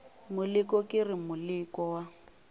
moleko ke re moleko wa